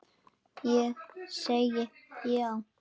Ég segi já!